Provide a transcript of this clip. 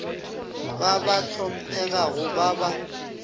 ba ba hlomphegago ba ba